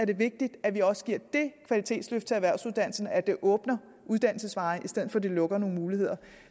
vigtigt at vi også giver det kvalitetsløft til erhvervsuddannelserne at det åbner uddannelsesveje i stedet for at det lukker nogle muligheder